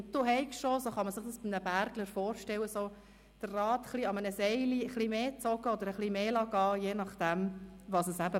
Du habest auch, wie man es sich von einem Bergler vorstellen kann, wie bei einem Seil etwas mehr angezogen oder losgelassen, je nachdem, was nötig war.